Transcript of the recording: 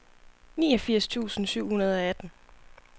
niogfirs tusind syv hundrede og atten